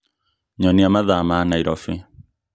Nyonia mathaa ma Nairobi